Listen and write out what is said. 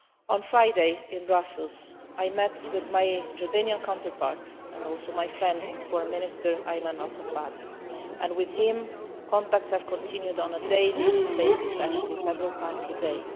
On Friday, in Brussels, I met with my Jordanian counterpart, and also my friend, Foreign Minister Ayman Al Safadi, and with him contacts have continued on a daily basis, actually several times a day.